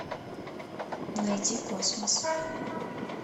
найди космос